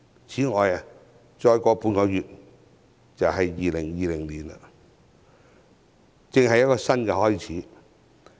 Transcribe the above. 此外，半個月後便進入2020年，是一個新開始。